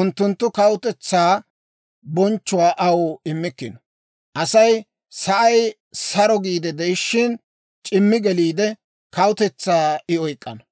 unttunttu kawutetsaa bonchchuwaa aw immikkino. Asay sa'ay sara giide de'ishshin, c'immi geliide, kawutetsaa I oyk'k'ana.